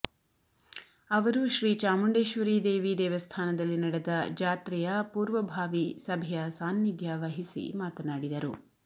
ಅವರು ಶ್ರೀ ಚಾಮುಂಡೇಶ್ವರಿ ದೇವಿ ದೇವಸ್ಥಾನದಲ್ಲಿ ನಡೆದ ಜಾತ್ರೆಯ ಪೂರ್ವಭಾವಿ ಸಭೆಯ ಸಾನಿಧ್ಯ ವಹಿಸಿ ಮಾತನಾಡಿದರು